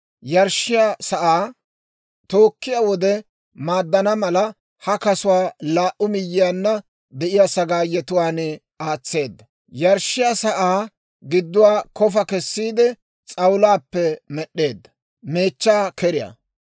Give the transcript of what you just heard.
Yarshshiyaa sa'aa tookkiyaa wode maaddana mala, ha kasuwaa laa"u miyyiyaanna de'iyaa sagaayetuwaan aatseedda. Yarshshiyaa sa'aa gidduwaa kofa kessiide, s'awulaappe med'd'eedda.